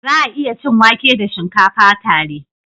Za a iya cin wake da shinkafa tare.